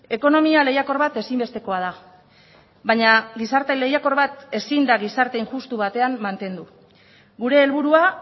ekonomia lehiakor bat ezinbestekoa da baina gizarte lehiakor bat ezin da gizarte injustu batean mantendu gure helburua